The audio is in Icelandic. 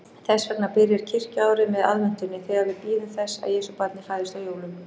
Þess vegna byrjar kirkjuárið með aðventunni, þegar við bíðum þess að Jesúbarnið fæðist á jólum.